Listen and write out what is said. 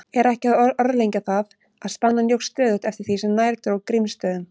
Er ekki að orðlengja það, að spennan jókst stöðugt eftir því sem nær dró Grímsstöðum.